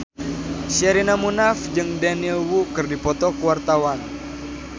Sherina Munaf jeung Daniel Wu keur dipoto ku wartawan